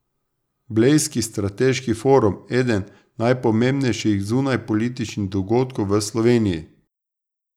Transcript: Blejski strateški forum, eden najpomembnejših zunanjepolitičnih dogodkov v Sloveniji.